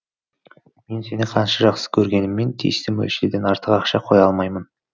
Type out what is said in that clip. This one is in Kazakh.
мен сені қанша жақсы кергеніммен тиісті мөлшерден артық ақша қоя алмаймын